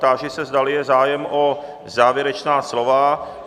Táži se, zdali je zájem o závěrečná slova.